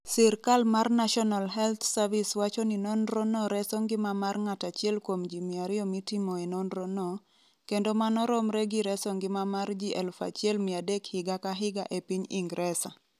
Sirkal mar National Health Service wacho ni nonrono reso ngima mar ng'ato 1 kuom ji 200 mitimoe nonrono, kendo mano romre gi reso ngima mar ji 1,300 higa ka higa e piny Ingresa.